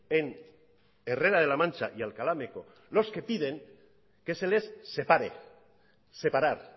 en herrera de la mancha y alcalá meco los que piden que se les separe separar